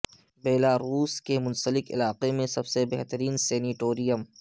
Belarus کے Minsk علاقے میں سب سے بہترین سینیٹرییمیم